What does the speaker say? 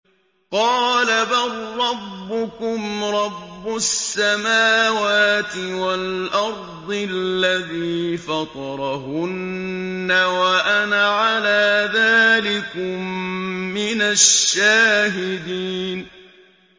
قَالَ بَل رَّبُّكُمْ رَبُّ السَّمَاوَاتِ وَالْأَرْضِ الَّذِي فَطَرَهُنَّ وَأَنَا عَلَىٰ ذَٰلِكُم مِّنَ الشَّاهِدِينَ